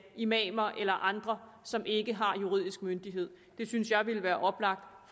imamer eller andre som ikke har juridisk myndighed jeg synes at det ville være oplagt